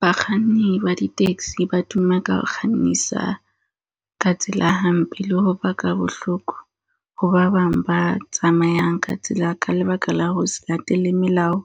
Bakganni ba di-taxi ba tuma ka ho kgannisa ka tsela hampe. Le ho baka bohloko ho ba bang ba tsamayang ka tsela ka lebaka la ho se latele melao